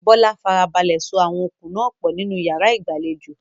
Bola farabalẹ̀ so àwọn okùn náà pọ̀ nínú yàrá ìgbàlejò.